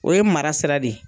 O ye mara sira de ye.